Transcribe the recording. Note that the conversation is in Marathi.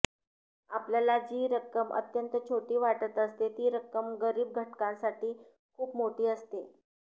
आपल्याला जी रक्कम अत्यंत छोटी वाटत असते ती रक्कम गरीब घटकासाठी खूप मोठी असते